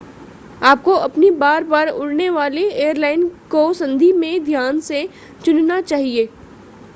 आपको अपनी बार-बार उड़ने वाली एयरलाइन को संधि में ध्यान से चुनना चाहिए